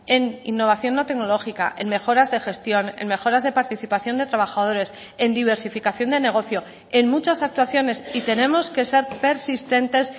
en innovación no tecnológica en mejoras de gestión en mejoras de participación de trabajadores en diversificación de negocio en muchas actuaciones y tenemos que ser persistentes